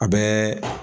A bɛɛ